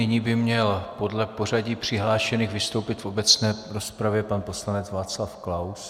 Nyní by měl podle pořadí přihlášených vystoupit v obecné rozpravě pan poslanec Václav Klaus.